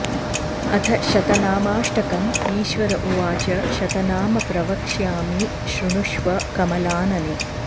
अथ शतनामाष्टकम् ईश्वर उवाच शतनाम प्रवक्ष्यामि शृणुष्व कमलानने